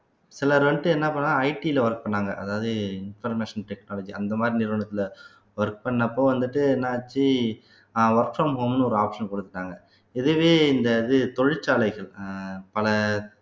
சிலர் வந்துட்டு என்ன பண்றாங்க IT ல work பண்ணாங்க அதாவது information technology அந்த மாதிரி நிறுவனத்திலே work பண்ணப்போ வந்துட்டு என்ன ஆச்சு அஹ் work from home ன்னு ஒரு option கொடுத்துட்டாங்க இதுவே இந்த இது தொழிற்சாலைகள் அஹ் பல